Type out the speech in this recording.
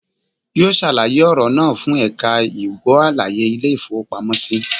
Yóò sàlàyé ọ̀rọ̀ náà fún ẹ̀ka ìgbó àlàyé Ilé ìfowópamọ́ sí